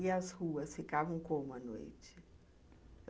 E as ruas ficavam como à noite?